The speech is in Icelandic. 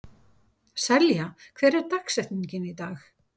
Selja, hver er dagsetningin í dag?